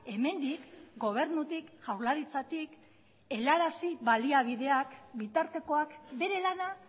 hemendik gobernutik jaurlaritzatik helarazi baliabideak bitartekoak bere lana